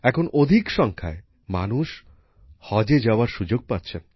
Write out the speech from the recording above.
এখন বেশী সংখ্যায় মানুষ হজে যাওয়ার সুযোগ পাচ্ছেন